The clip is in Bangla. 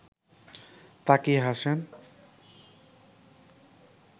তাকিয়ে হাসেন